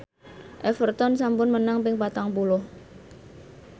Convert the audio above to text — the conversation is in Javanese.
Everton sampun menang ping patang puluh